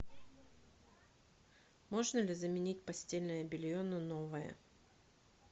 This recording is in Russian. можно ли заменить постельное белье на новое